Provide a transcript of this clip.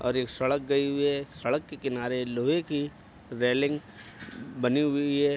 और एक सड़क गई हुई है सड़क के किनारे लोहे की रेलिंग बनी हुई है।